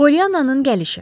Pollyannanın gəlişi.